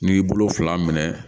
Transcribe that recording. N'i y'i bolo fila minɛ